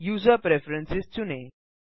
user preference चुनें